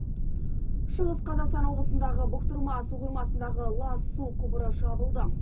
шығыс қазақстан облысындағы бұқтырма су қоймасындағы лас су құбыры жабылды